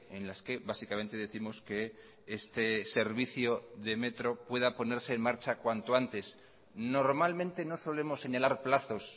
en las que básicamente décimos que este servicio de metro pueda ponerse en marcha cuanto antes normalmente no solemos señalar plazos